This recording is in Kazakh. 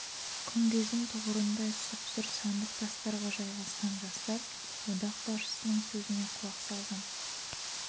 күмбездің тұғырындай сұп-сұр сандық тастарға жайғасқан жастар одақ басшысының сөзіне құлақ салған